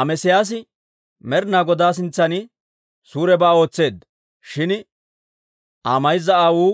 Amesiyaasi Med'ina Goday sintsan suurebaa ootseedda; shin Aa mayza aawuu